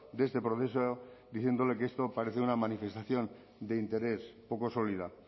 de este proceso diciéndole que esto parece una manifestación de interés poco sólida